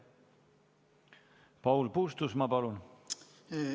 Paul Puustusmaa, palun!